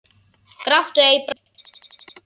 Gráttu ei. brostu breitt.